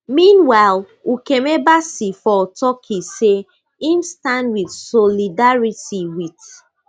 meanwhile ukeme bassey for turkey say im stand in solidarity wit